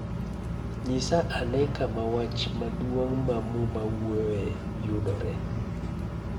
Nyisa ane kama wach maduong ' ma Muma wuoyoe yudoree.